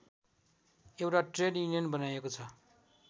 एउटा trade union बनाइएको छ